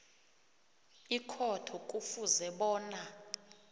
ikhotho kufuze bona